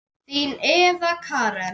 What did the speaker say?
Þín Eva Karen.